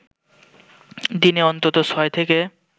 দিনে অন্তত ছয় থেকে